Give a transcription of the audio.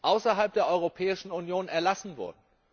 außerhalb der Europäischen Union erlassen wurde.